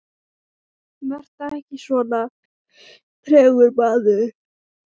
Vertu ekki svona tregur, maður!